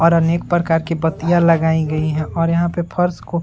और अनेक प्रकार की बत्तियां लगाई गयी हैं और यहाँ पे फर्श को --